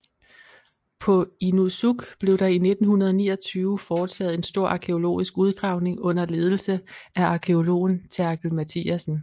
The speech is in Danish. På Inussuk blev der i 1929 foretaget en stor arkæologisk udgravning under ledelse af arkæologen Therkel Mathiassen